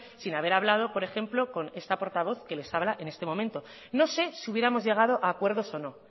sin haber hablado por ejemplo con esta portavoz que les habla en este momento no sé si hubiéramos llegado a acuerdos o no